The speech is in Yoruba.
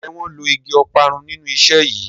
Njé wón ló ìgi Ọparun nínú iṣé yí?